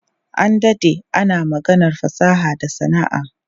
An dade ana maganar fasaha da sana'a.